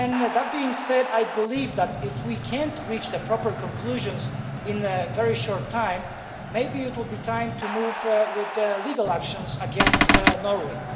That being said, I believe that if we cannot reach the proper conclusions in a very short time, maybe it will be time to move forward with legal action against Norway.